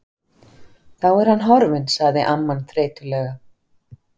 Þá er hann horfinn sagði amman þreytulega.